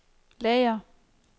lager